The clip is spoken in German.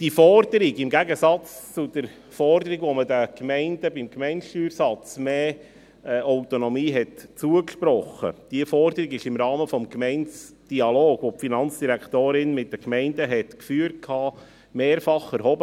Diese Forderung – im Gegensatz zur Forderung, bei welcher man den Gemeinden beim Steuersatz mehr Autonomie zugesprochen hat – wurde im Rahmen des Gemeindedialogs, welcher die Finanzdirektorin mit den Gemeinden geführt hat, mehrfach erhoben.